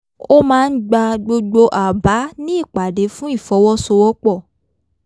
ó máa ń gba gbogbo àbá ní ìpàdé fún ìfọwọ́sowọ́pọ̀